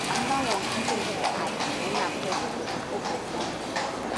anoda one hit me for eye na im i kon fall fall for ground